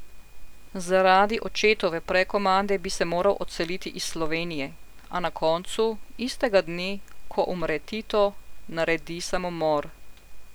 Zaradi očetove prekomande bi se moral odseliti iz Slovenije, a na koncu, istega dne, ko umre Tito, naredi samomor.